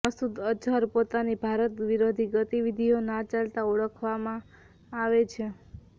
મસુદ અજહર પોતાની ભારત વિરોધી ગતિવિધિઓ ના ચાલતા ઓળખવામાં આવે છે